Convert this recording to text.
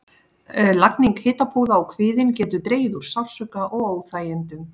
Lagning hitapúða á kviðinn getur dregið úr sársauka og óþægindum.